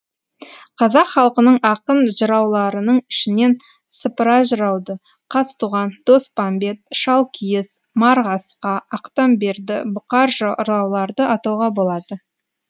қазақ халқының ақын жырауларының ішінен сыпыра жырауды қазтуған доспамбет шалкиіз марғасқа ақтамберді бұқар жырауларды атауға болады